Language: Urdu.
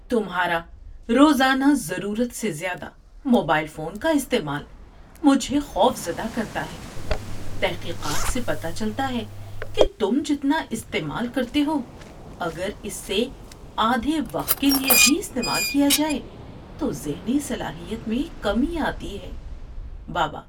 تمھارا روزانہ ضرورت سے زیادہ موبائل فون کا استعمال مجھے خوفزدہ کرتا ہے۔ تحقیقات سے پتہ چلتا ہے کہ تم جتنا استعمال کرتے ہو اگر اس سے آدھے وقت کے لیے بھی استعمال کیا جائے تو ذہنی صلاحیت میں کمی آتی ہے۔ (بابا)